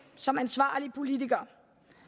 som ansvarlige politikere